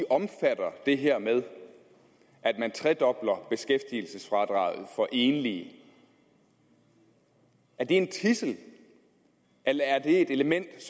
omfatter det her med at man tredobler beskæftigelsesfradraget for enlige er det en tidsel eller er det et element